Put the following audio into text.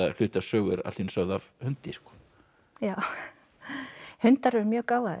hluti af sögu er allt í einu sögð af hundi já hundar er mjög gáfaðir